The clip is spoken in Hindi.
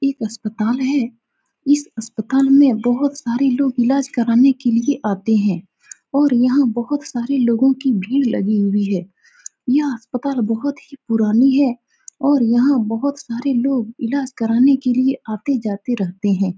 यह एक अस्पताल है इस अस्पताल में बहुत सारे लोग इलाज करने के लिए आते हैं और यहाँ बहुत सारे लोगो की भीड़ लगी हुए हैं यह अस्पताल बहुत ही पुरानी है और यहाँ बहुत लोग इलाज करने के लिए आते-जाते रहते हैं ।